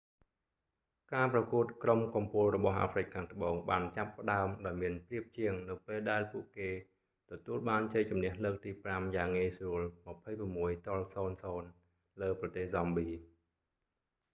ការប្រកួតក្រុមកំពូលរបស់អាហ្វ្រិកខាងត្បូងបានចាប់ផ្តើមដោយមានប្រៀបជាង នៅពេលដែលពួកគេទទួលបានជ័យជម្នះលើកទី 5យ៉ាងងាយស្រួល 26 - 00 លើប្រទេស ហ្សំប៊ី